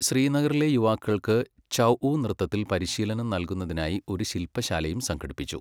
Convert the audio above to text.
ശ്രീനഗറിലെ യുവാക്കൾക്ക് ഛഊ നൃത്തത്തിൽ പരിശീലനം നൽകുന്നതിനായി ഒരു ശിൽപശാലയും സംഘടിപ്പിച്ചു.